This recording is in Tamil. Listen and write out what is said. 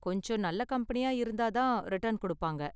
கொஞ்சம் நல்ல கம்பெனியா இருந்தா தான் ரிட்டர்ன் கொடுப்பாங்க.